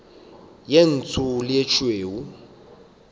ye ntsho le ye tšhweu